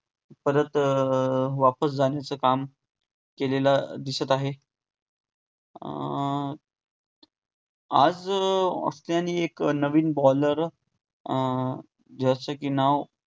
परत अं वापस जाण्याचं काम केलेलं दिसत आहे. अं आज ऑस्ट्रेलियाने एक नवीन baller अं ज्याचे कि नाव